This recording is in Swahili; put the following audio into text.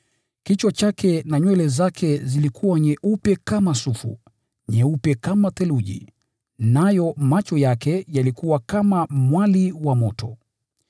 Kichwa chake na nywele zake zilikuwa nyeupe kama sufu, nyeupe kama theluji, nayo macho yake yalikuwa kama mwali wa moto.